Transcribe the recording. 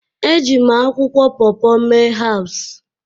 Eji m akwụkwọ paw paw mee herbs